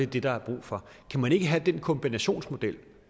det der er brug for kan man ikke have den kombinationsmodel